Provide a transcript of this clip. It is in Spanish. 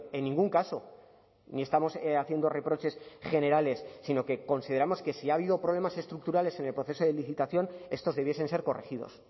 en ningún caso ni estamos haciendo reproches generales sino que consideramos que si ha habido problemas estructurales en el proceso de licitación estos debiesen ser corregidos